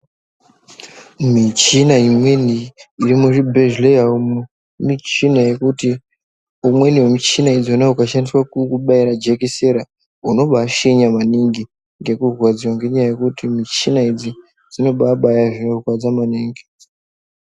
Michina imweni iri muzvibhedhleya umu michina yekuti imweni yemuchina idzona ikashandiswa kukubaira jekisera unobaa shenya maningi ngekurwadziwa ngenyaya yekuti muchina idzi dzinobabaya zvinorwadza maningi.